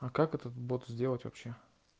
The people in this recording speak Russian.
а как этот бот сделать вообще